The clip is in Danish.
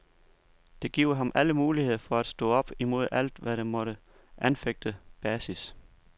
Det giver ham alle muligheder for at stå op imod alt, hvad der måtte anfægte basis.